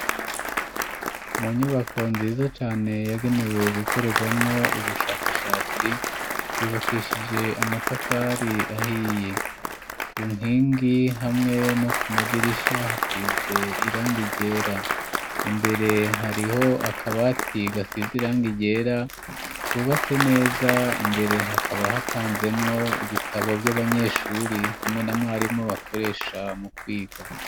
Mu nyubako nziza cane,, yagenewe gukorerwamwo ubushakashatsi ,yubakishije amatafari ahiye, ku nkingi hamwe no ku madirisha hasize irangi ryera, imbere hariho akabati gasize irangi ryera, kubatse neza imbere hakaba hapanzemwo ibitabo vy'abanyeshuri ,hamwe na mwarimu bakoresha mu kwiga.